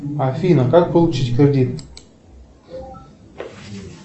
афина как получить кредит